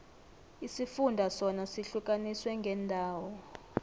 isifunda sona sihlukaniswe ngeendawo